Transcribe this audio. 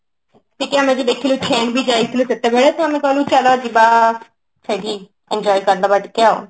ଟିକେ ଆମେ ବି ଦେଖିଲୁ ଯାଇଥିଲୁ ସେତେବେଳେ ତ ଆମେ କହିଲୁ ଚାଲ ଯିବା ସେଇଠି enjoy କରିଦବା ଟିକେ ଆଉ କଣ